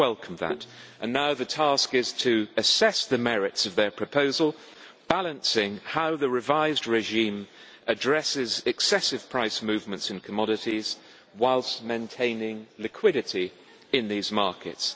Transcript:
We welcome that and now the task is to assess the merits of its proposal, balancing how the revised regime addresses excessive price movements in commodities, whilst maintaining liquidity in the markets.